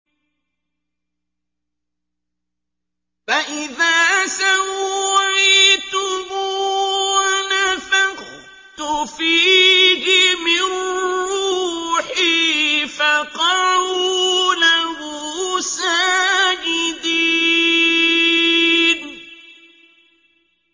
فَإِذَا سَوَّيْتُهُ وَنَفَخْتُ فِيهِ مِن رُّوحِي فَقَعُوا لَهُ سَاجِدِينَ